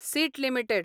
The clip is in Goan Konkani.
seat limited